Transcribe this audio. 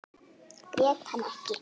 Grét hann ekki.